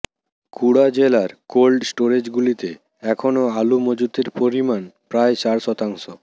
কুড়া জেলার কোল্ড স্টোরেজগুলিতে এখনও আলু মজুতের পরিমাণ প্রায় চার শতাংশ